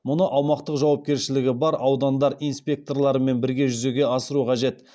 мұны аумақтық жауапкершілігі бар аудандық инспекторлармен бірге жүзеге асыру қажет